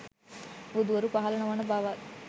බුදුවරු පහළ නොවන බවක්